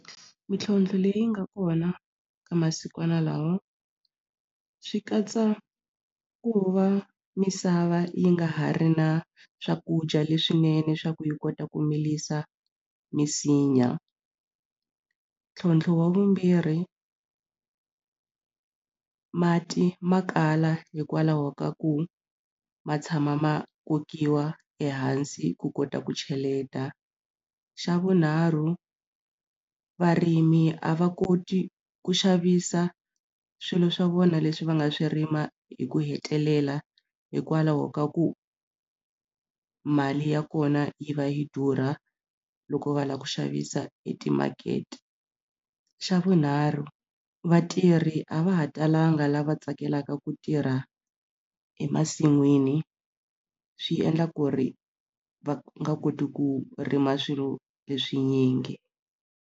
Mitlhontlho leyi nga kona ka masikwana lawa swi katsa ku va misava yi nga ha ri na swakudya leswinene swa ku yi kota ku milisa misinya ntlhontlho wa vumbirhi mati ma kala hikwalaho ka ku ma tshama ma kokiwa ehansi ku kota ku cheleta xa vunharhu varimi a va koti ku xavisa swilo swa vona leswi va nga swi rima hi ku hetelela hikwalaho ka ku mali ya kona yi va yi durha loko va lava ku xavisa etimakete xa vunharhu vatirhi a va ha talanga lava tsakelaka ku tirha emasin'wini swi endla ku ri va nga koti ku rima swilo leswi nyingi.